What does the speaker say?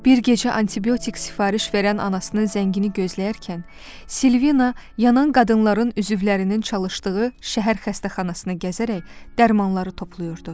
Bir gecə antibiotik sifariş verən anasının zəngini gözləyərkən, Silvina yanan qadınların üzvlərinin çalışdığı şəhər xəstəxanasına gəzərək dərmanları toplayırdı.